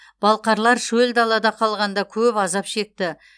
балқарлар шөл далада қалғанда көп азап шекті